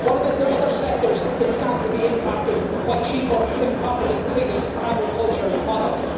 What about the other sectors that stand to be impacted by cheaper, improperly treated agricultural products?